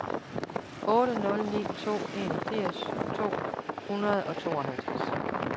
otte nul ni to enogfirs to hundrede og syvoghalvtreds